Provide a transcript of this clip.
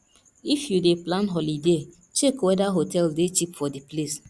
if you dey plan holiday check weda hotel dey cheap for di place